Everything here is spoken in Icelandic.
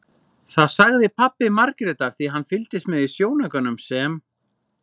Það sagði pabbi Margrétar því hann fylgdist með í sjónaukanum sem